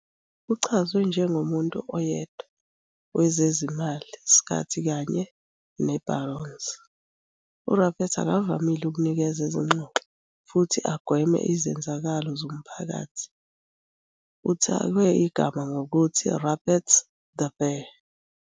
Uchazwe "njengomuntu oyedwa" wezezimali skhathi kanye ne-Barron's, uRupert akavamile ukunikeza izingxoxo futhi agweme izenzakalo zomphakathi. uthakwe igama ngokuthi "Rupert the Bear".